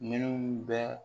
Minnu bɛ